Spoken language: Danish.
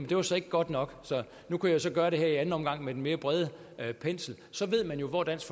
det var så ikke godt nok nu kunne jeg så gøre det her i anden omgang med den mere brede pensel så ved man jo hvor dansk